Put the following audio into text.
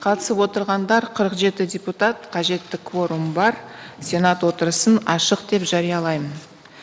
қатысып отырғандар қырық жеті депутат қажетті кворум бар сенат отырысын ашық деп жариялаймын